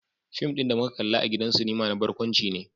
Fim din da muka kalla a gidan sinima na barkwanci ne.